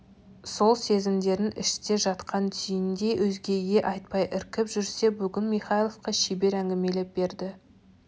сол сезімдерін іште жатқан түйіндей өзгеге айтпай іркіп жүрсе бүгін михайловқа шебер әңгмелеп берді